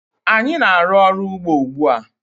Anyị na-aru ọrụ ugbó ugbu a.